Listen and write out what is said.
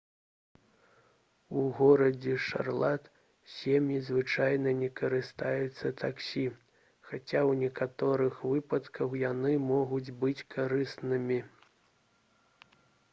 у горадзе шарлат сем'і звычайна не карыстаюцца таксі хаця ў некаторых выпадках яны могуць быць карыснымі